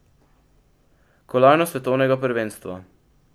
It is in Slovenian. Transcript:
Kolajno s svetovnega prvenstva!